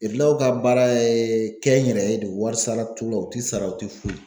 ka baara ye kɛnyɛrɛye don warisara t'u la, u ti sara, u tɛ foyi